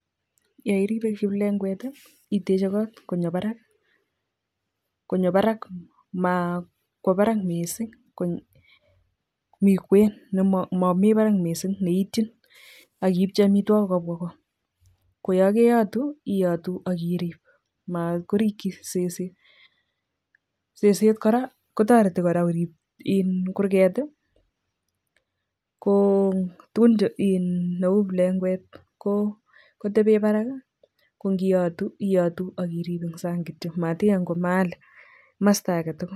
Yairibe plengwek ii iteje kot konyo barak konyo barak ma kwo barak missing mi kwen nemomi barak missing ne ityin ak ipchi amitwogik kobwa go koyoo keyotu iyotu ak irip mat korichi seset. Seset kora kotoreti kora korib in kurget ii ko tugun neu plengwek kotebe barak, Ko ngiyotu iyotu ak irip eng sang kityo mat ingany kwo mahali kamosto age tugul.